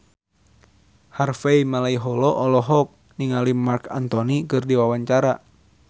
Harvey Malaiholo olohok ningali Marc Anthony keur diwawancara